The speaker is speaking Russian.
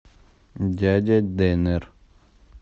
дядя денер